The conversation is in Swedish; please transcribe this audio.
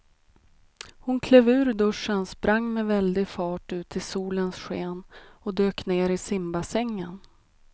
Hon klev ur duschen, sprang med väldig fart ut i solens sken och dök ner i simbassängen.